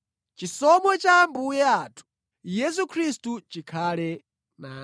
Chisomo cha Ambuye athu Yesu Khristu chikhale nanu.